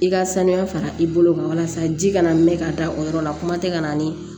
I ka sanuya fara i bolo kan walasa ji kana mɛn ka da o yɔrɔ la kuma tɛ ka na ni